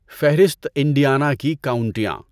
فہرست انڈیانا کی کاؤنٹیاں